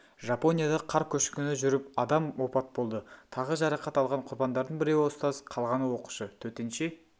жапонияда қар көшкіні жүріп адам опат болды тағы жарақат алған құрбандардың біреуі ұстаз қалғаны оқушы төтенше